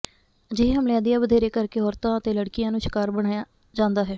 ਅਜਿਹੇ ਹਮਲਿਆਂ ਦੀਆਂ ਵਧੇਰੇ ਕਰਕੇ ਔਰਤਾਂ ਅਤੇ ਲੜਕੀਆਂ ਨੂੰ ਸ਼ਿਕਾਰ ਬਣਾਇਆ ਜਾਂਦਾ ਹੈ